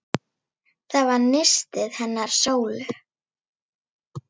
Það var nistið hennar Sólu.